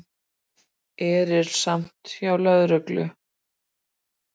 Erilsamt hjá lögreglu